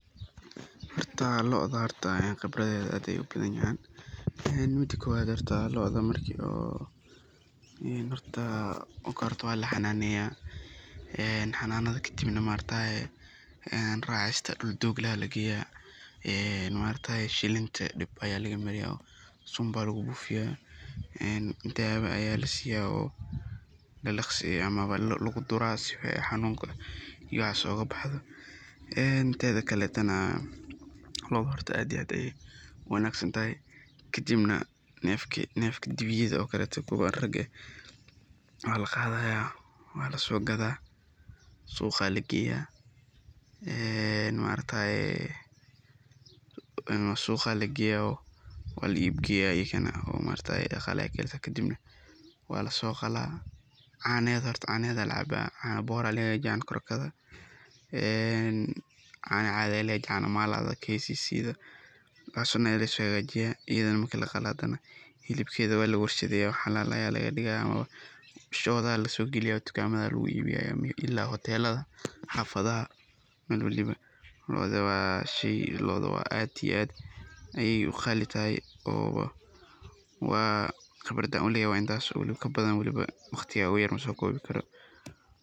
Horta locda khibradeda aad ayey u badan yahan, ee mida kowaad, locda horta waa lahananeya, oo laraca, kadib dhul doog ah aa lageya racista kadib maaragtaye shilinta dhib aa lagamariya ,sunba lagu bufiyaa dawaa aa lasiyaa oo lalaqsiya oo luguduraa sifaa ay xanunka ,waxas oga bahdo. Wanagsantahay kadibna ,nefka dibiyada oka letoo waa laqadaya waa laso gadaa, suqaa lageya oo ee maaragataye waa la iibgeya ii kana ,kadibna waa lasoqalaa, canahedha horta aa lacaba ,cano koroga aa laga hagajiya ,cana cadhi aa lagahagajiya ,cano maladha ,cano kccga . Xilib kedha waa lawala warshadeyaa oo shodaha laso galiya oo dukamadha aa lagu iibiya ila hoteladha ,xafadhaha lodaa waa shey aad iyo aad qali igu tahay, khibrada aan u leyahay waa intas iyo kabadhan waliba waqtiga igu yar masokobi karo.